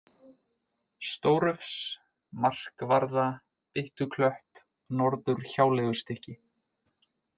Stórufs, Markvarða, Byttuklöpp, Norðurhjáleigustykki